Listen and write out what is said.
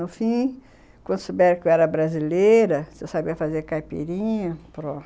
No fim, quando souberam que eu era brasileira, se eu sabia fazer caipirinha, pronto.